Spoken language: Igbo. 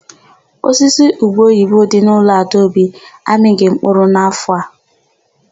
Osisi ubeoyibo dị n'ụlọ Adaobi amịghị mkpụrụ n'áfọ̀ a.